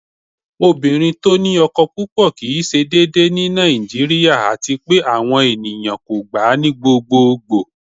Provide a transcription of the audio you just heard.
Ọ̀bìnrin tí ó ní ọkọ́ púpọ̀ kí í ṣé dèédèè ní Nàìjíríà, àti pẹ̀ àwọn ènìyàn kò gbà ní gbogbogbo.